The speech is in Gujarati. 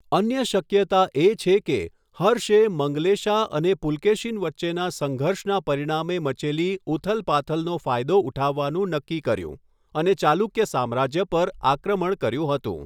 અન્ય શક્યતા એ છે કે હર્ષે મંગલેશા અને પુલકેશીન વચ્ચેના સંઘર્ષના પરિણામે મચેલી ઉથલપાથલનો ફાયદો ઉઠાવવાનું નક્કી કર્યું અને ચાલુક્ય સામ્રાજ્ય પર આક્રમણ કર્યું હતું.